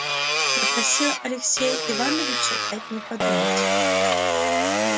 я просил алексея ивановича дать мне подумать